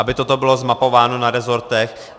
Aby toto bylo zmapováno na rezortech.